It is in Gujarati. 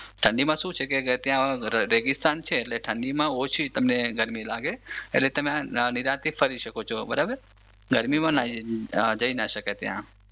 ઠંડીમાં શું છે કે ત્યાં રેગિસ્તાન છે એટલે ઠંડીમાં ઓછી તમને ગરમી લાગે એટલે તમે નિરાંતથી ફરી શકો છો બરાબર ગરમીમાં ના જઈ શકાય ત્યાં.